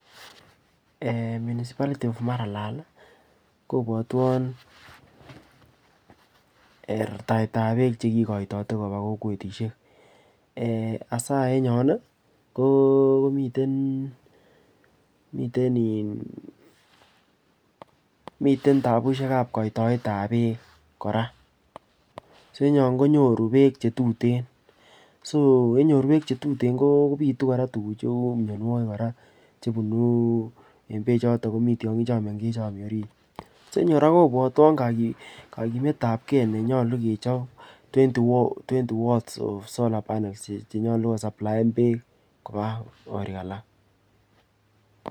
Eeh! Municipality of Maralal kibwatwon ee rartaetab beek chekikoitote koba kokwetisiek. Eeasaen yon komiten in tabusiekab koitoetab beek kora. Soenyon konyoru beek che tuten. Soyenyor beek chetuten konyoru mianwogik kora chebunu en beechoton komitiongi choto chomiorit. Soenyu kora kobwatwon kaiyumetabke nenyalu kechob twenty watts of solar pannels chenyalukosaplaen beek koba korik alak.